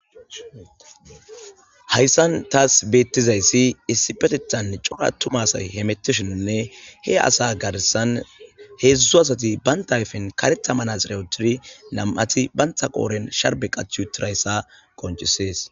Haysan tas betizas Issipetethan cora atuma asay hemetishennne he asa garsan hedzu asati banta ayfen karetha manaxire wothidi Nam'ati banta qodhan sharbe